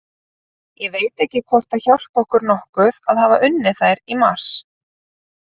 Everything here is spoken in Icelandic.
Ég veit ekki hvort að það hjálpi okkur nokkuð að hafa unnið þær í mars.